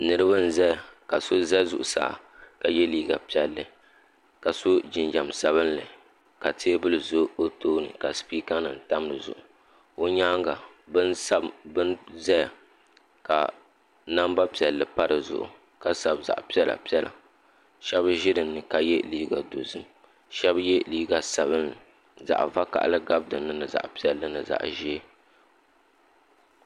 Niriba n zaya ka so za zuɣu saa ka ye liga piɛli ka so jinjam sabinli ka teebuli za o too ni ka sipika nim tam di Zuɣu o nyaanga bin zaya ka namba piɛli pa di zuɣu ka sabi zaɣa piɛla piɛla shɛb zi dini ka ye liga do zim shɛb yɛ liga sabinli zaɣa vakahili gabi dini zaɣa piɛli ni zaɣa ʒiɛ.